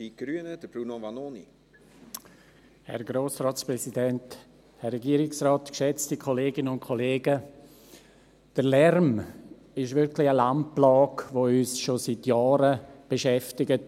Der Lärm ist wirklich eine Landplage, die uns auf den Strassen schon seit Jahren beschäftigt.